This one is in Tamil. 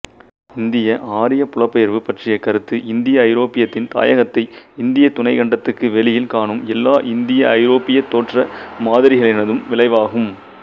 இந்தியஆரியப் புலப்பெயர்வு பற்றிய கருத்து இந்தியஐரோப்பியத்தின் தாயகத்தை இந்தியத் துணைக்கண்டத்துக்கு வெளியில் காணும் எல்லா இந்தியஐரோப்பியத் தோற்ற மாதிரிகளினதும் விளைவாகும்